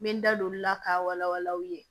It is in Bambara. N bɛ n da don olu la k'a wala wala aw ye